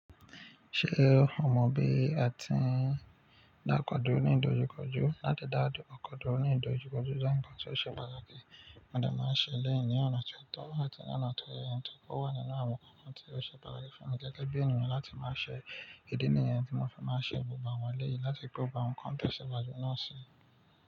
Ṣé o mọ bí a ti ń dá ọkọ̀ dúró ní ìdojúkọjú? Láti dá ọkọ dúró ní ìdojúkọjú jẹ́ ǹkan tó ṣe pàtàkì. Mọ de máa ń ṣe elẹ́yì ní ọ̀nà tó tọ́ àti ní ọ̀nà tó yẹ, nítorí ó wà nínú àwọn ǹkan tí ó ṣe pàtàkì fún mi gẹ́gẹ́ bí ènìyàn láti máa ṣe ìdí nìyẹn tí mo fi máa ṣe gbogbo àwọn elèyí láti gbó àwọn ǹkan tó ṣe pàtàkì náà ṣe.